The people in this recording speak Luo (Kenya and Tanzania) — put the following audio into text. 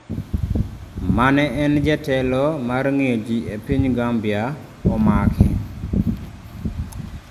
ma ne en jatelo mar ng'iyo ji e piny Gambia omake